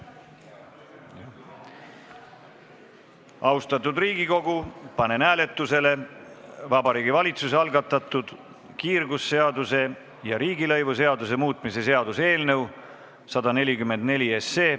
Austatud Riigikogu, panen hääletusele Vabariigi Valitsuse algatatud kiirgusseaduse ja riigilõivuseaduse muutmise seaduse eelnõu 144.